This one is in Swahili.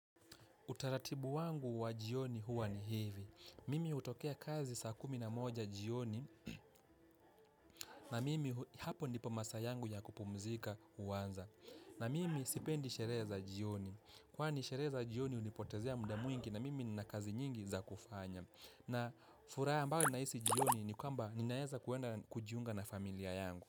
Utaratibu wangu wa jioni huwa ni hivi. Mimi hutokea kazi saa kumi na moja jioni na mimi hapo ndipo masaa yangu ya kupumzika huanza. Na mimi sipendi sherehe za jioni. Kwa ni sherehe za jioni hunipotezea muda mwingi na mimi nina kazi nyingi za kufanya. Na furaha ambayo nahisi jioni ni kwamba ninaweza kuenda kujiunga na familia yangu.